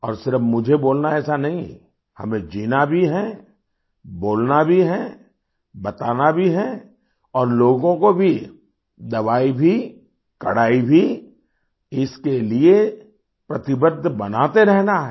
और सिर्फ मुझे बोलना है ऐसा नहीं हमें जीना भी है बोलना भी है बताना भी है और लोगों को भी दवाई भी कड़ाई भी इसके लिए प्रतिबद्ध बनाते रहना है